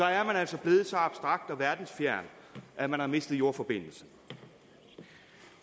er man altså blevet så abstrakt og verdensfjern at man har mistet jordforbindelsen